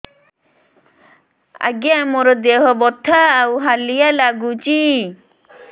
ଆଜ୍ଞା ମୋର ଦେହ ବଥା ଆଉ ହାଲିଆ ଲାଗୁଚି